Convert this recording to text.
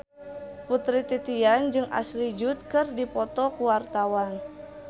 Putri Titian jeung Ashley Judd keur dipoto ku wartawan